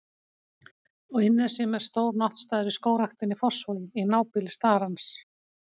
Á Innnesjum er stór náttstaður í Skógræktinni í Fossvogi, í nábýli starans.